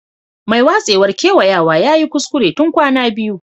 Mai watsewar kewayawa ya yi kuskure tun kwana biyu.